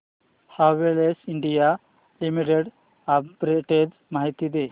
Havells India limited arbitrage माहिती दे